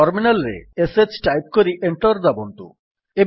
terminal ରେ ଶ୍ type କରି ଏଣ୍ଟର୍ ଦାବନ୍ତୁ